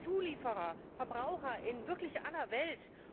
Zulieferer, Verbraucher in wirklich aller Welt.